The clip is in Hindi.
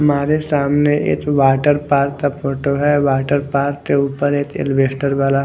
हमारे सामने एक वाटरपार्क का फोटो है वाटरपार्क के ऊपर एक एलवेस्टर वाला--